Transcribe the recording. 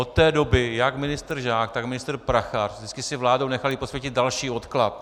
Od té doby jak ministr Žák, tak ministr Prachař vždycky si vládou nechali posvětit další odklad.